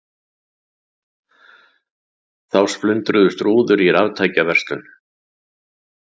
Þá splundruðust rúður í raftækjaverslun